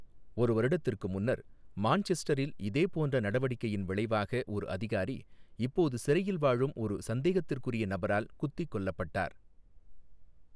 ஒரு வருடத்திற்கு முன்னர், மான்செஸ்டரில் இதேபோன்ற நடவடிக்கையின் விளைவாக ஒரு அதிகாரி, இப்போது சிறையில் வாழும் ஒரு சந்தேகத்திற்குறிய நபரால் குத்திக் கொல்லப்பட்டார், .